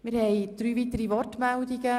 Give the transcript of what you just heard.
Wir haben weitere Wortmeldungen.